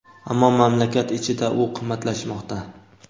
ammo mamlakat ichida u qimmatlashmoqda.